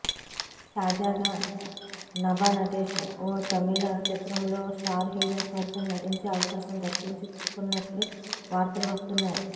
తాజాగా నభా నటేష్ ఓ తమిళ చిత్రంలో స్టార్ హీరో సరసన నటించే అవకాశం దక్కించుకున్నట్లు వార్తలు వస్తున్నాయి